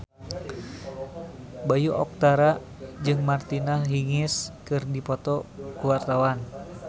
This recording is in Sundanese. Bayu Octara jeung Martina Hingis keur dipoto ku wartawan